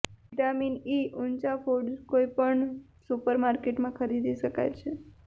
vitamin E ઊંચા foods કોઈપણ supermarket માં ખરીદી શકાય છે